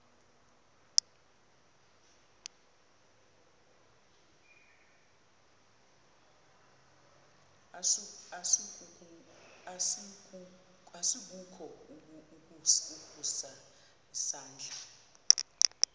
asikukho ukusa isandla